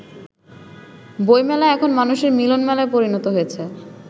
বইমেলা এখন মানুষের মিলন মেলায় পরিণত হয়েছে।